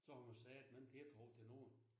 Så har man satme ingen tiltro til nogen